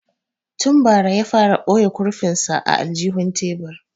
Tun bara ya fara boye kurfin sa a aljihun tebur